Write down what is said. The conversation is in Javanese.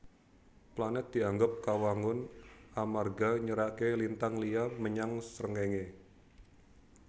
Planèt dianggep kawangun amarga nyeraké lintang liya menyang Srengéngé